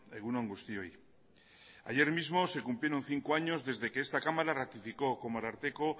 egun on guztioi ayer mismo se cumplieron cinco años desde que esta cámara ratificó como ararteko